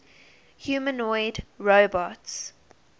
humanoid robots